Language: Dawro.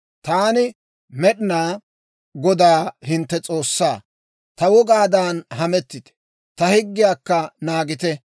Taani Med'inaa Godaa hintte S'oossaa. Ta wogaadan hamettite; ta higgiyaakka naagite.